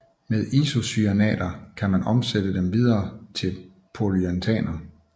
Med isocyanater kan man omsætte dem videre til polyuretaneer